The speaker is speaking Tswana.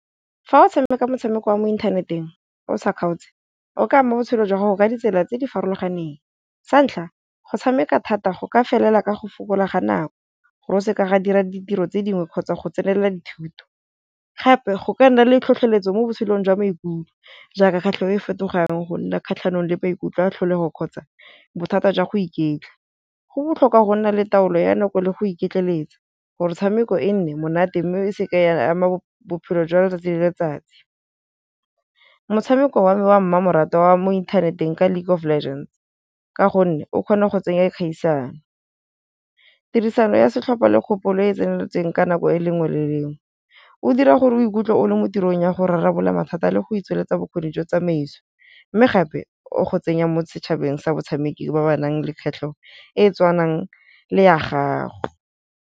Fa o tshameka motshameko wa mo inthaneteng o sa kgaotse, o ka ama botshelo jwa gago ka ditsela tse di farologaneng, sa ntlha go tshameka thata go ka felela ka go fokola ga nako go se ka ga dira ditiro tse dingwe kgotsa go tsenela dithuto. Gape go ka nna le tlhotlheletso mo botshelong jwa maikutlo jaaka kgatlhego e fetogang go nna kgatlhanong le maikutlo a tlholego kgotsa bothata jwa go iketla, go botlhokwa go nna le taolo ya nako le go iketleletsa gore tshameko e nne monate mme e se ke ya ama bophelo jwa letsatsi le letsatsi. Motshameko wa me wa me wa mmamoratwa wa mo inthaneteng ka League of Legends, ka gonne o kgona go tsenya kgaisano, tirisano ya setlhopha le kgopolo e e tseneletseng ka nako e lengwe le lengwe o dira gore o ikutlwe o le mo tirong ya go rarabolla mathata le go tsweletsa bokgoni jwa tsamaiso mme gape, o go tsenya mo setšhabeng sa batshameki ba ba nang le kgwatlhego e tshwanang le ya gago.